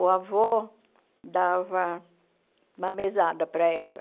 O avô dava uma mesada para ela.